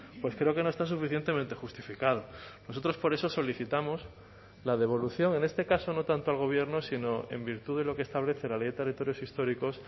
pues creo que no está suficientemente justificado nosotros por eso solicitamos la devolución en este caso no tanto al gobierno sino en virtud de lo que establece la ley de territorios históricos